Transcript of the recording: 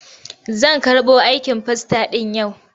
Zan karɓo aikin fasta ɗin yau.